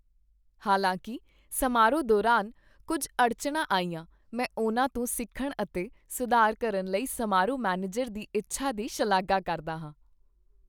ਹਾਲਾਂਕਿ ਸਮਾਰੋਹ ਦੌਰਾਨ ਕੁੱਝ ਅੜਚਣਾਂ ਆਈਆਂ, ਮੈਂ ਉਨ੍ਹਾਂ ਤੋਂ ਸਿੱਖਣ ਅਤੇ ਸੁਧਾਰ ਕਰਨ ਲਈ ਸਮਾਰੋਹ ਮੈਨੇਜਰ ਦੀ ਇੱਛਾ ਦੀ ਸ਼ਲਾਘਾ ਕਰਦਾ ਹਾਂ।